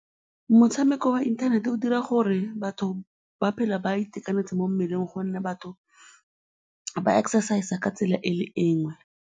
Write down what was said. Motshameko wa inthanete o dira gore batho ba tshele ba itekanetse mo mmeleng gonne batho ba exercise-a ka tsela e le e nngwe.